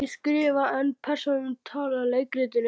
Ég skrifa en persónurnar tala í leikritinu.